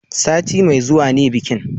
Sati mai zuwa ne bikin